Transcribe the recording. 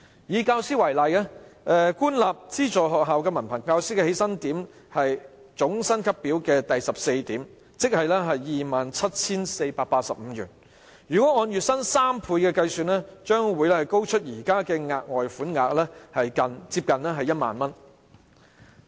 以教師為例，官立及資助學校的文憑教師起薪點是總薪級表第14點，即 27,485 元；若按月薪3倍計算，額外款項將較現時高出接近 10,000 元。